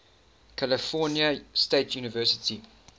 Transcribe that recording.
california state university